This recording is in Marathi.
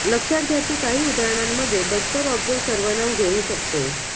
लक्षात घ्या की काही उदाहरणांमध्ये बस्तर ऑब्जेक्ट सर्वनाम घेऊ शकतो